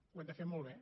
ho hem de fer molt bé